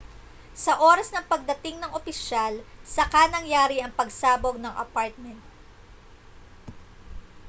sa oras ng pagdating ng opisyal saka nangyari ang pagsabog ng apartment